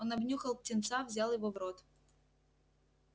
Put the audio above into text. он обнюхал птенца взял его в рот